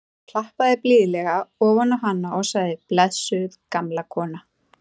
Hann klappaði blíðlega ofan á hana og sagði: blessuð gamla konan.